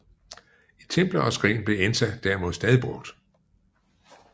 I templer og skrin blev ensa derimod stadig brugt